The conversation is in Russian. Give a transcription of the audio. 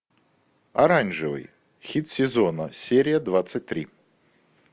оранжевый хит сезона серия двадцать три